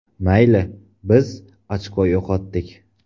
Mayli, biz ochko yo‘qotdik.